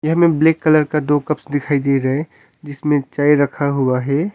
Black colour का दो cups दिखाई दे रहे जिसमें चाय रखा हुआ है।